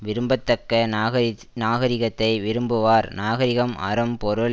விரும்ப தக்க நாகச் நாகரிகத்தை விரும்புவார் நாகரிகம் அறம் பொருள்